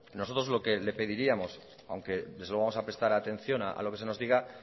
nosotros lo que le pediríamos aunque desde luego vamos a prestar atención a lo que se nos diga